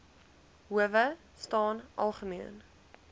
howe staan algemeen